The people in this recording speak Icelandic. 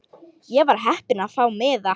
Ég var heppin að fá miða.